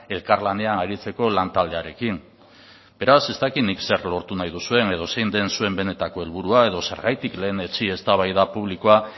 elkarlanean aritzeko lantaldearekin beraz ez dakit nik zer lortu nahi duzuen edo zein den zuen benetako helburua edo zergatik lehenetsi eztabaida publikoa